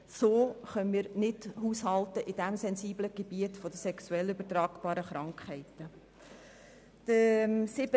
So können wir in dem sensiblen Gebiet der sexuell übertragbaren Krankheiten nicht haushalten.